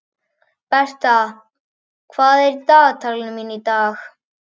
Bertha, hvað er í dagatalinu mínu í dag?